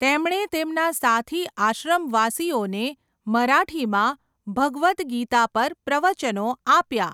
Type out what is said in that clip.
તેમણે તેમના સાથી આશ્રમવાસીઓને મરાઠીમાં ભગવદ ગીતા પર પ્રવચનો આપ્યાં.